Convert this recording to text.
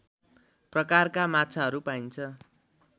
प्रकारका माछाहरू पाइन्छ